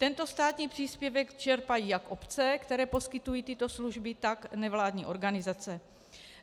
Tento státní příspěvek čerpají jak obce, které poskytují tyto služby, tak nevládní organizace.